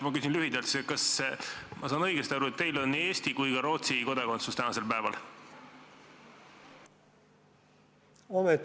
Ma küsin lühidalt: kas ma saan õigesti aru, et teil on nii Eesti kui ka Rootsi kodakondsus tänasel päeval?